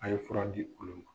A ye fura di u bolo ma